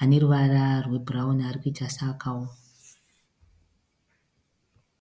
ane ruvara rwebhurawuni anoita seakaoma.